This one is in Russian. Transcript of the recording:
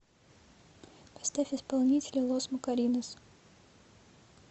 поставь исполнителя лос макоринос